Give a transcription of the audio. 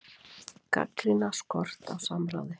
Gagnrýna skort á samráði